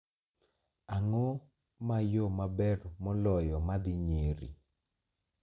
Ang'o ma yo maber moloyo ma dhi Nyeri?